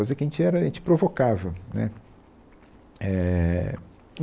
Coisa que a gente era, a gente provocava, né. Éh